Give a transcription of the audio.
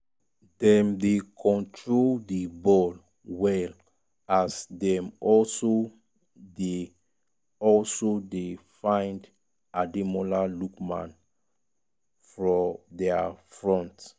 dem dey control di ball well as dem also dey also dey find ademola lookman fro di front.